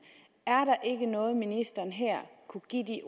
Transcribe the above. er der ikke noget ministeren her kunne give de